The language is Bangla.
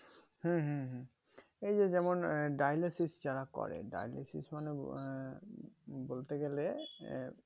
হ্যাঁ হ্যাঁ হ্যাঁ ওই যে যেমন dialysis যারা করে dialysis মানে আহ বলতে গেলে